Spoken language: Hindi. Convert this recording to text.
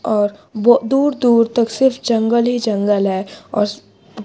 और बो दूर दूर तक सिर्फ जंगल ही जंगल है और--